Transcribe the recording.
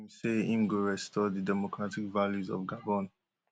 wey im say im go restore di democratic values of gabon